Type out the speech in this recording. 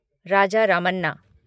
Raja Ramanna